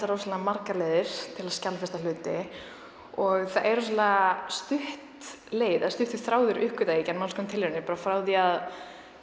rosalega margar leiðir til að skjalfesta hluti og það er rosalega stutt leið eða stuttur þráður uppgötvaði ég í gegnum alls konar tilraunir frá því að